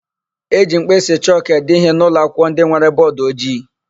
E ji mkpịsị chọkụ ede íhé n'ụlọakwụkwọ ndị nwere bọọdụojii.